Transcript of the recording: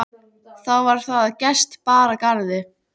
Þá var það að gest bar að garði.